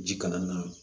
Ji kana na